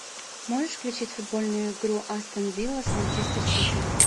можешь включить футбольную игру астон вилла с манчестер сити